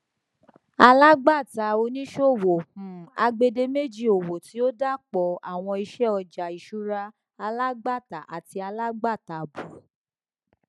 alágbàtàoníṣòwò um agbèdémèjì owó tí ó dàapọ àwọn iṣẹ ọjà ìṣúra alágbàtà àti alágbàtà àábò